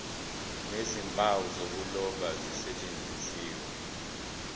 nezimpawu zokuloba zisetshenziswe